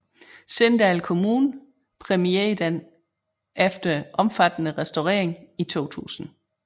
Sindal Kommune præmierede den efter omfattende restaurering i 2000